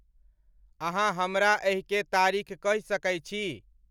अहाँहमरा एहि के तारीख़ कह सके छी